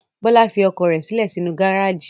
Bọ́lá fi ọkọ̀ rẹ̀ sílẹ̀ sínú gárájì.